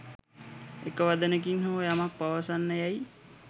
එක වදනකින් හෝ යමක් පවසන්න යැයි